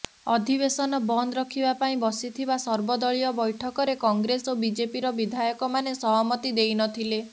ଅଧିବେଶନ ବନ୍ଦ ରଖିବା ପାଇଁ ବସିଥିବା ସର୍ବଦଳୀୟ ବୈଠକରେ କଂଗ୍ରେସ ଓ ବିଜେପିର ବିଧାୟକମାନେ ସହମତି ଦେଇନଥିଲେ